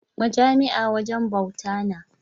Majami’a wajen bawta na.